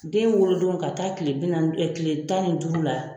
Den wolodon ka taa tile bi naani tile tan ni duuru la,